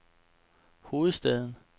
hovedstaden